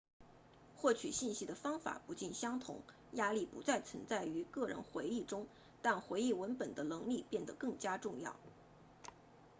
获取信息的方法不尽相同压力不再存在于个人回忆中但回忆文本的能力变得更加重要